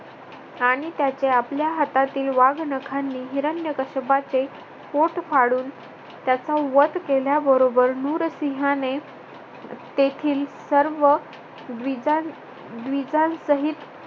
आणि त्याचे आपल्या हातातील वाघनखांनी हिरण्यकश्यपाचे पोट फाडून त्याचा वध केल्याबरोबर नुरसिंहाने तेथील सर्व द्विजां द्विजांसहित